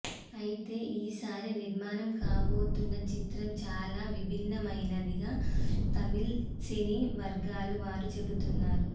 అయితే ఈసారి నిర్మాణం కాబోతున్న చిత్రం చాలా విభిన్నమైనదిగా తమిళ సినీ వర్గాల వారు చెబుతున్నారు